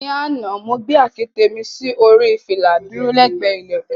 Ní àná, mo gbé àkẹtẹ̀ mi sí orí fìlà dúró lẹ́gbẹ̀ẹ́ ilẹ̀kùn.